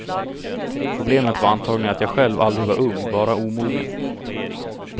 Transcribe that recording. Problemet var antagligen att jag själv aldrig var ung, bara omogen.